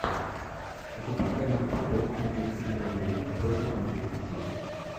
запускай нам футбол английской премьер лиги против манчестер сити